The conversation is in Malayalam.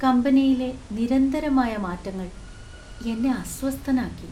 കമ്പനിയിലെ നിരന്തരമായ മാറ്റങ്ങൾ എന്നെ അസ്വസ്ഥനാക്കി.